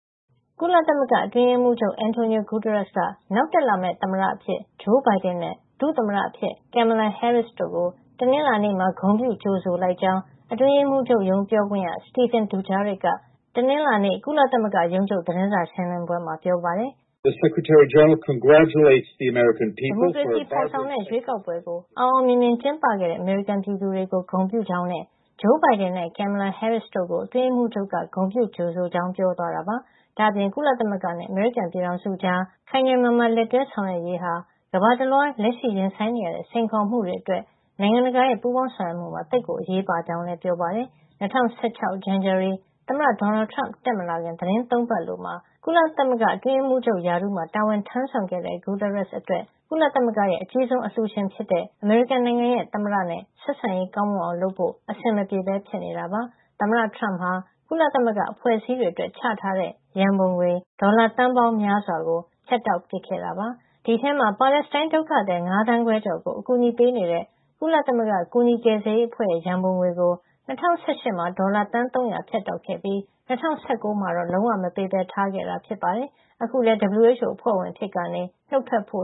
ကုလသမဂ္ဂအတွင်းရေးမှုးချုပ် Antonio Guterres က နောက်တက်လာမယ့် သမ္မတအဖြစ် Joe Biden နဲ့ ဒုသမ္မတအဖြစ် Kamala Harris တို့ကို တနင်္လာနေ့မှာ ဂုဏ်ပြုကြိုဆိုလိုက်ကြောင်း အတွင်းရေးမှူးချုပ်ရုံး ပြောခွင့်ရ Stephane Dujarric က တနင်္လာနေ့ သတင်းစာ ရှင်းလင်းပွဲမှာ ပြောပါတယ်။ ဒီမိုကရေစီဖေါ်ဆောင်တဲ့ ရွေးကောက်ပွဲကို အောင်အောင်မြင်မြင်ကျင်းပခဲ့တဲ့ အမေရိကန် ပြည်သူတွေကို ဂုဏ်ပြုကြောင်းနဲ့ ဂျိုးဘိုင်ဒန်နဲ့ Kamala Harris တို့ ကို အတွင်းရေးမှုးချုပ်က ဂုဏ်ပြုကြိုဆိုကြောင်း ပြောသွားတာပါ။ ဒါ့အပြင် ကုသမဂ္ဂနဲ့ အမေရိကန်ပြည်ထောင်စုတို့ကြား ခိုင်ခိုင်မာမာ လက်တွဲဆောင်ရွက်ရေးဟာ ကမ္ဘာတလွှား လက်ရှိရင်ဆိုင်နေရတဲ့ စိန်ခေါ်မှုတွေအတွက် နိုင်ငံတကာရဲ့ ပူုးပေါင်းဆောင်ရွက်မှုမှာ သိပ်အရေးပါကြောင်းလည်း ပြောပါတယ်။ ၂၀၁၆ ဇန်နဝါရီလ သမ္မတ ဒေါ်နယ်ထရမ့်တက်မလာခင် သီတင်း ၃ ပတ်အလိုမှာ ကုလသမဂ္ဂရဲ့ အတွင်းရေးမှူး ချုပ် ရာထူးမှာ တာဝန်ထမ်းဆောင်ခဲ့တဲ့ Guterres အတွက် ကုလသမဂ္ဂရဲ့ အကြီးဆုံးအလှူရှင်ဖြစ်တဲ့ အမေရိကန်ရဲ့ သမ္မတနဲ့ ဆက်ဆံရေး ကောင်းမွန်အောင် လုပ်ဖို့ အဆင်မပြေပဲ ဖြစ်နေတာပါ။ သမ္မတထရမ့်ဟာ ကုလသမဂ္ဂအဖွဲ့အစည်းတွေအတွက် ချထားပေးတဲ့ ရန်ပုံငွေ ဒေါ်လာ သန်းရာပေါင်းများစွာကို ဖြတ်တောက်ခဲ့တာပါ။ ဒီအထဲမှာ ပါလက်စတိုင်း ဒုက္ခသည် ၅ သန်းခွဲကျော်ကို အကူညီပေးနေတဲ့ ကုလသမဂ္ဂ ကူညီကယ်ဆယ်ရေး အဖွဲ့ရဲ့ ရန်ပုံငွေကို ၂၀၁၈ မှာ ဒေါ်လာသန်း ၃၀၀ ဖြတ်တောက်ခဲ့ပြီး ၂၀၁၉ မှာတော့ လုံးဝ မပေးပဲထားခဲ့တာ ဖြစ်ပါတယ်။ အခုလည်း WHO အဖွဲ့ ဝင်အဖြစ်ကနေ နုတ်ထွက်ဖို့